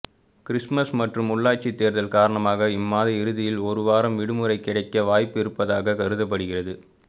Christmas மற்றும் உள்ளாட்சி தேர்தல் காரணமாக இம்மாத இறுதியில் ஒருவாரம் விடுமுறை கிடைக்க வாய்ப்பு இருப்பதாக கருதப்படுகிறது